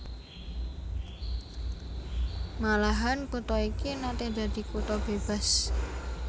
Malahan kutha iki naté dadi kutha bébas